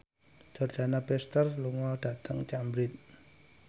Jordana Brewster lunga dhateng Cambridge